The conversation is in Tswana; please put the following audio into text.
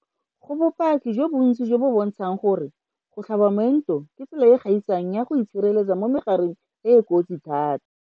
Go bopaki jo bontsi jo bo bontshang gore go tlhaba moento ke tsela e e gaisang ya go itshireletsa mo megareng e e kotsi thata.